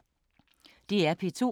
DR P2